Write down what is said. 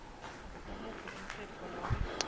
ngumuphi umtsetfo nobe